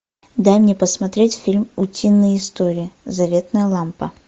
дай мне посмотреть фильм утиные истории заветная лампа